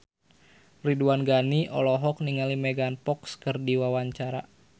Ridwan Ghani olohok ningali Megan Fox keur diwawancara